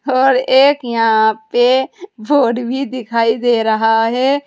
और एक यहां पे बोड भी दिखाई दे रहा है।